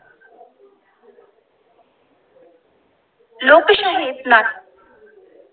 लोकशाही ज्ञान